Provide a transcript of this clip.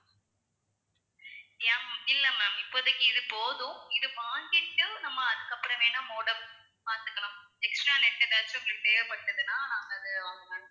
yeah ma'am இல்ல ma'am இப்போதைக்கு இது போதும் இது வாங்கிட்டு நம்ம அதுக்கு அப்புறம் வேணும்னா modem பாத்துக்கலாம் extra net ஏதாச்சும் எங்களுக்கு தேவைப்பட்டதுன்னா நாங்க அதை வாங்குவோம் ma'am